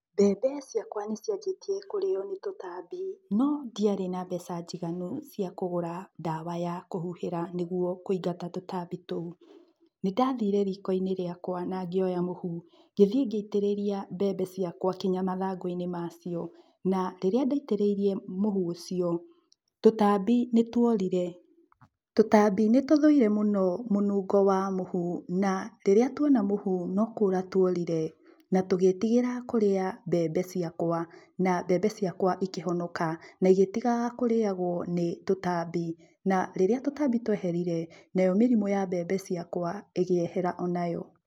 Mbembe ciakwa nĩciambĩtie kũrĩo nĩ tũtambi. No ndiarĩ na mbeca njiganu cia kũgũra ndawa ya kũhuhĩra nĩguo kũingata tũtambi tũu. Nĩndathire riko-inĩ rĩakwa na ngĩoya mũhu, ngĩthie ngĩitĩrĩria mbembe ciakũa kinya mathangũ-inĩ macio. Na rĩrĩa ndaitĩrĩirie mũhu ũcio, ,tũtambi nĩtwaũrire. Tũtambi nĩtũthũire mũno mũnungo wa mũhu na rĩrĩa tuona mũhu no kũũra tũaũrire, na tũgĩtigĩra kũrĩa mbembe ciakũa, na mbembe ciakũa ikĩhonoka, na igĩtigaga kũriagũo nĩ tũtambi, na rĩrĩa tũtambi tũeherire, nayo mĩrimũ ya mbembe ciakũa, ĩkĩehera onayo.